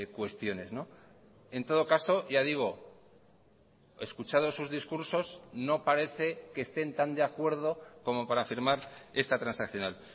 cuestiones en todo caso ya digo escuchados sus discursos no parece que estén tan de acuerdo como para firmar esta transaccional